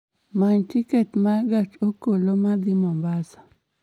Many tiket ma gach okoloma dhi Mombasa